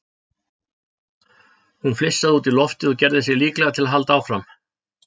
Hún flissaði út í loftið og gerði sig líklega til að halda áfram.